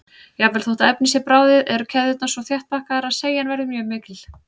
Jafnvel þótt efnið sé bráðið eru keðjurnar svo þétt pakkaðar að seigjan verður mjög mikil.